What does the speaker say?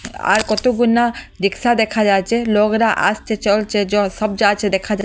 আর কত গুন্যা রিকশা দেখা যাচে লোকরা আসছে চলছে সব যাচ্চে দেকা যাচে।